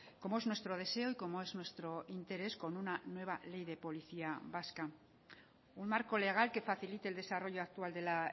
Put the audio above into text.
como es nuestro deseo y como es nuestro interés con una nueva ley de policía vasca un marco legal que facilite el desarrollo actual de la